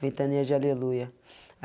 Ventania de Aleluia.